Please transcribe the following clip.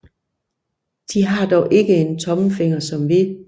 De har dog ikke en tommelfinger som vi